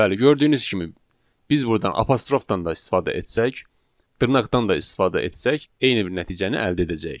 Bəli, gördüyünüz kimi, biz burdan apostrofdan da istifadə etsək, dırnaqdan da istifadə etsək, eyni bir nəticəni əldə edəcəyik.